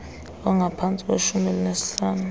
ongaphantsi kweshumi elinesihlanu